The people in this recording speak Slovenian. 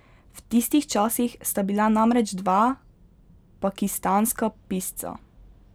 V tistih časih sta bila namreč dva pakistanska pisca.